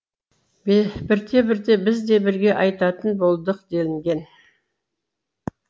бірте бірте біз де бірге айтатын болдық делінген